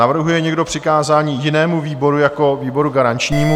Navrhuje někdo přikázání jinému výboru jako výboru garančnímu?